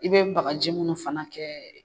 I bɛ baganjɛ minnu fana kɛ